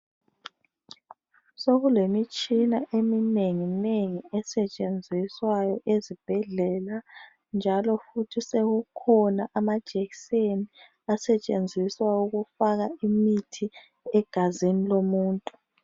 Sokulemitshina eminengi nengi esetshenziswayo ezibhedlela njalo futhi sekukhona amajekiseni asetshenziswa ukufaka umuthi egazini lomuntu.